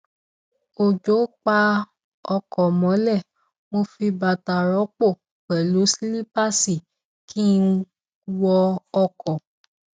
òjò pa ọkọ mọlẹ mo fi bàtà rọpò pẹlú sílípáàsì kí n wọ ọkọ